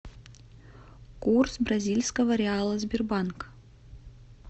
курс бразильского реала сбербанк